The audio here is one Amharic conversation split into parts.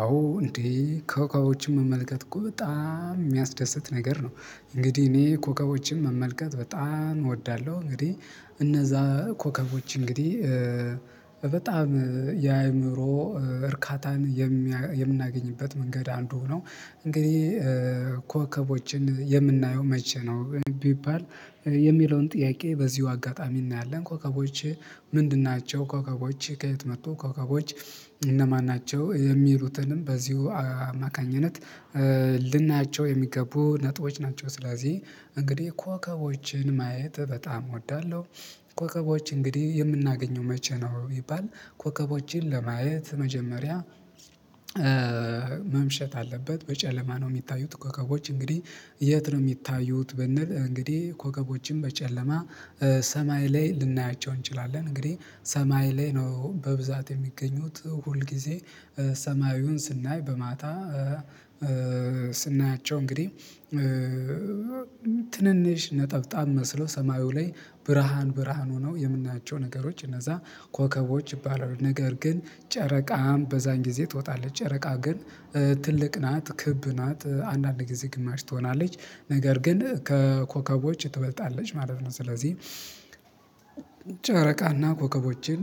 አዎ እንዴ ኮኮቦችን መመልከት እኮ በጣም የሚያስደስት ነገር ነው። እንግዲህ እኔ ኮኮቦችን መመልከት በጣም እወዳለሁ። እንግዲህ እነዛ ኮከቦች እንግዲህ በጣም የአይምሮ እርካታን የምናገኝበት መንገድ አንዱ ነው። እንግዲህ ኮከቦችን የምናየው መቼ ነው ቢባል የሚለውን ጥያቄ በዚሁ አጋጣሚ እናያለን። ኮከቦቼ ምንድን ናቸው ኮከቦች ከየት መጡ ኮከቦች እነማን ናቸው? የሚሉትንም በዚሁ አማካኝነት ልናያቸው የሚገቡ ነጥቦች ናቸው። ስለዚህ እንግዲህ ኮከቦችን ማየት በጣም እወዳለሁ። ኮከቦች እንግዲህ የምናገኘው መቼ ነው? ይባል ኮከቦችን ለማየት መጀመሪያ መምሸት አለበት በጨለማ ነው። የሚታዩት ኮገቦች እንግዲህ የት ነው የሚታዩት? ብንል እንግዲህ ኮከቦችን በጨለማ ሰማይ ላይ ልናያቸው እንችላለን። እንግዲህ ሰማይ ላይ ነው በብዛት የሚገኙት ሁል ጊዜ ሰማዩን ስናይ በማታ ስናያቸው እንግዲህ ትንንሽ ነጠብጣብ መስሎ ሰማዩ ላይ ብርሃን ብርሃን ሆነው የምናቸው ነገሮች እነዛ ኮከቦች ይባላሉ። ነገር ግን ጨረቃም በዛን ጊዜ ትወጣለች ጨረቃ ግን ትልቅ ናት። ክብ ናት አንዳንድ ጊዜ ግማሽ ትሆናለች ነገር ግን ከኮከቦች ትበልጣለች ማለት ነው። ስለዚህ ጨረቃና ኮከቦችን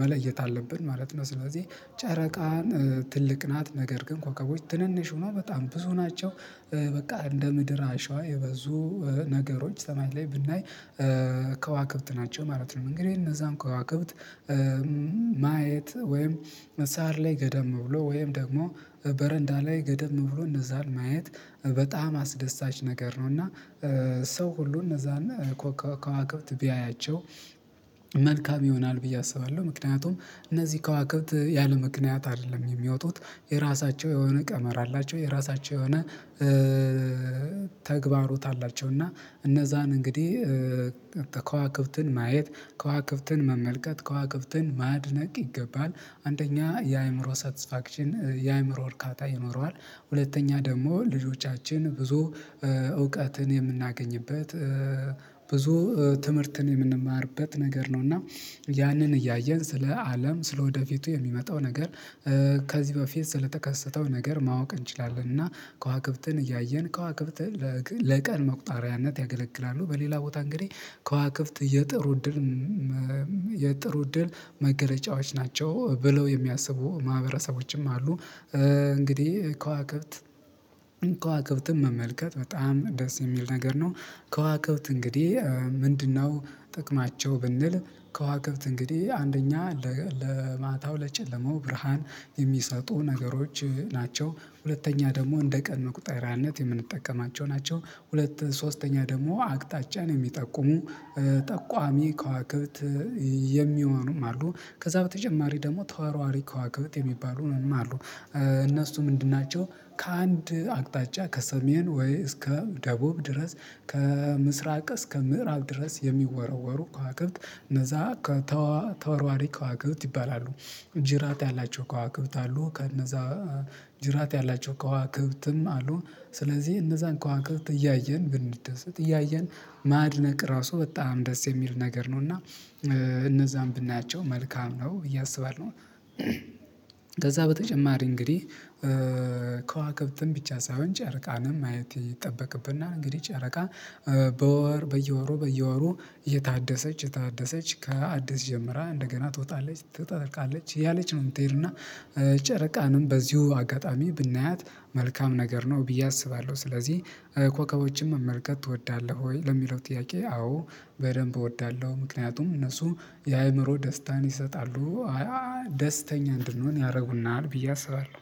መለየት አለብን ማለት ነው። ስለዚህ ጨረቃን ትልቅ ናት ነገር ግን ኮከቦች ትንንሽ ሁነው በጣም ብዙ ናቸው። በቃ እንደ ምድር አሸዋ የበዙ ነገሮች ሰማይ ላይ ብናይ ከዋክብት ናቸው ማለት ነው። እንግዲህ እነዛን ከዋክብት ማየት ወይም መሳህር ላይ ገደም ብሎ ወይም ደግሞ በረንዳ ላይ ገደም ብሎ እነዛን ማየት በጣም አስደሳች ነገር ነው። እና ሰው ሁሉ እነዛን ከዋክብት ቢያያቸው መልካም ይሆናል ብዬ አስባለሁ። ምክንያቱም እነዚህ ከዋክብት ያለ ምክንያት አይደለም የሚወጡት የራሳቸው የሆነ ቀመር አላቸው የራሳቸው የሆነ ተግባሮት አላቸው። እና እነዛን እንግዲህ ከዋክብትን ማየት ከዋክብትን መመልከት ከዋክብትን ማድነቅ ይገባል አንደኛ የአይምሮ ሳትስፋክሽን የአይምሮ እርካታ ይኖረዋል። ሁለተኛ ደግሞ ልጆቻችን ብዙ እውቀትን የምናገኝበት ብዙ ትምህርትን የምንማርበት ነገር ነው። እና ያንን እያየን ስለ አለም ስለ ወደፊቱ የሚመጣው ነገር ከዚህ በፊት ስለተከሰተው ነገር ማወቅ እንችላለን። እና ከዋክብትን እያየን ከዋክብትን ለቀን መቁጠሪያነት ያገለግላሉ። በሌላ ቦታ እንግዲህ ከዋክብት የጥሩ እድል የጥሩ እድል መገለጫዋች ናቸው ብለው የሚያስቡ ማህበረሰቦችም አሉ። እንግዲህ ከዋክብት ከዋክብትም መመልከት በጣም ደስ የሚል ነገር ነው። ከዋክብት እንግዲህ ምንድነው? ጥቅማቸው ብንል ከዋክብት እንግዲህ አንደኛ ለማታው ለጨለማው ብርሃን የሚሰጡ ነገሮች ናቸው። ሁለተኛ ደግሞ እንደ ቀን መቁጠሪያነት የምንጠቀማቸው ናቸው። ሁለት ሶስተኛ ደግሞ አቅጣጫን የሚጠቁሙ ጠቋሚ ከዋክብት የሚሆኑም አሉ። ከዛ በተጨማሪ ደግሞ ተወርዋሪ ከዋክብት የሚባሉም አሉ። እነሱ ምንድን ናቸው? ከአንድ አቅጣጫ ከሰሜን ወይ እስከ ደቡብ ድረስ ከምስራቅ እስከ ምዕራብ ድረስ የሚወረወሩ ከዋክብት እነዛ ከተዋርዋሪ ከዋክብት ይባላሉ። ጅራት ያላቸው ከዋክብት አሉ ከእነዛ ጅራት ያላቸው ከዋክብትም አሉ። ስለዚህ እነዛን ከዋክብት እያየን ብንደሰት እያየን ማድነቅ ራሱ በጣም ደስ የሚል ነገር ነው። እና እነዛን ብናያቸው መልካም ነው ብየ አስባለሁ። ከዛ በተጨማሪ እንግዲህ ከዋክብትም ብቻ ሳይሆን ጨረቃንም ማየት ይጠበቅብና እንግዲህ ጨረቃ በወር በየወሩ በየወሩ የታደሰች የታደሰች ከአዲስ ጀምራ እንደገና ትወጣለች ትጠልቃለች እያለች ነው። የምትሄድና ጨረቃንም በዚሁ አጋጣሚ ብናያት መልካም ነገር ነው ብዬ አስባለሁ። ስለዚህ ኮከቦችን መመልከት ትወዳለህ ወይ ለሚለው ጥያቄ አዎ። በደንብ እወዳለሁ ምክንያቱም እነሱ የአይምሮ ደስታን ይሰጣሉ። ደስተኛ እንድንሆን ያረጉናል ብዬ አስባለሁ።